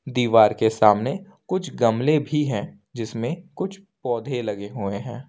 दीवार के सामने कुछ गमले भी है जिसमें कुछ पौधे लगे हुए हैं।